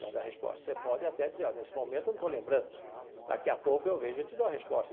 Da da resposta você pode até dizer olha, nesse momento, não estou lembrando, daqui a pouco eu vejo e te dou a resposta.